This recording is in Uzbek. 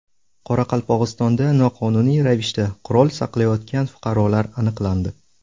Qoraqalpog‘istonda noqonuniy ravishda qurol saqlayotgan fuqarolar aniqlandi.